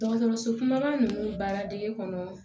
Dɔgɔtɔrɔso kumaba ninnu baara dege kɔnɔ